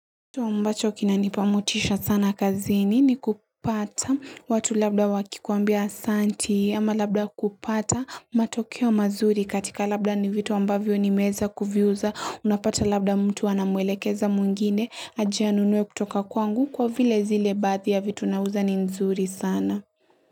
Ambacho kinanipa motisha sana kazini ni kupata watu labda wakikuambia asanti ama labda kupata matokeo mazuri katika labda ni vitu ambavyo nimeza kuviuza unapata labda mtu anamwelekeza mwingine aje anunue kutoka kwangu kwa vile zile baadhi ya vitu naauza ni nzuri sana.